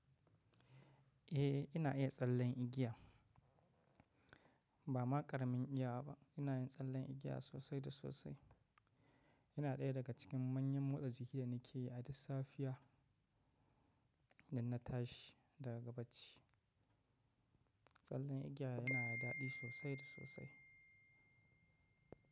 Eh ina iya tsallen igiya. Ba ma ƙaramin igiya ba, ina yin tsallen igiya sosai da sosai. Yana ɗaya daga cikin hanyoyin motsa jiki da nake yi a duk safiya da na tashi daga bacci. Tsallen igiya yana da daɗi sosai da sosai.